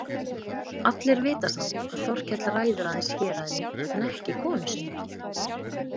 Allir vita samt að Þorkell ræður aðeins héraðinu en ekki konu sinni.